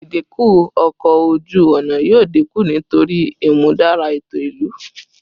Idinku ọkọ oju-ọna yoo dinku nitori imudara eto ilu